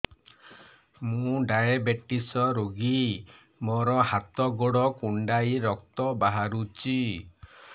ମୁ ଡାଏବେଟିସ ରୋଗୀ ମୋର ହାତ ଗୋଡ଼ କୁଣ୍ଡାଇ ରକ୍ତ ବାହାରୁଚି